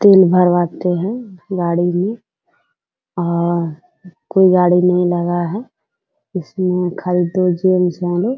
तेल भरवाते है गाड़ी में और कोई गाड़ी नहीं लगा है जिसमें खाली दो जेंट्स है आरो --